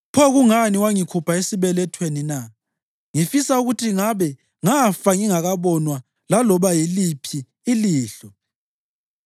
Pho kungani wangikhupha esibelethweni na? Ngifisa ukuthi ngabe ngafa ngingakabonwa laloba yiliphi ilihlo.